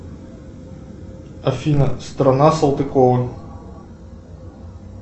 афина страна салтыкова